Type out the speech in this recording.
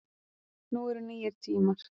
Nú eru nýir tímar